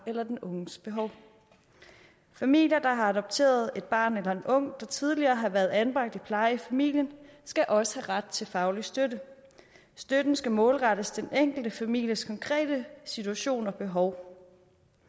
eller den unges behov familier der har adopteret et barn eller en ung der tidligere har været anbragt i plejefamilien skal også have ret til faglig støtte støtten skal målrettes den enkelte families konkrete situation og behov